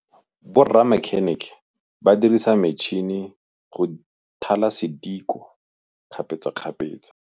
Borra makhênêkê ba dirisa matšhine wa go thala sedikô kgapetsa kgapetsa.